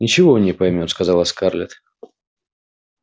ничего он не поймёт сказала скарлетт